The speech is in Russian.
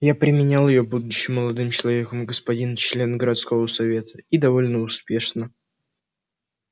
я применял её будучи молодым человеком господин член городского совета и довольно успешно